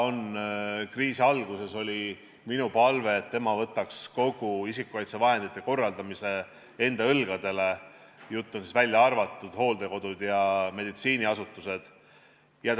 Kriisi alguses oli minu palve, et tema võtaks kogu isikukaitsevahenditega seotud korraldamise enda õlgadele, välja arvatud hooldekodude ja meditsiiniasutuste jaoks.